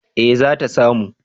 eh zata samu